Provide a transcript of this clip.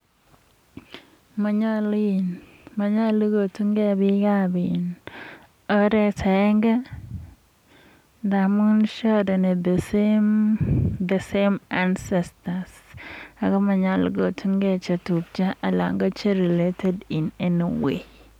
Monyolu kotun gee biikab oret agenge, ndamun sharen the same ancestors ako monyolu kotungee chetupchoo ak che related in any way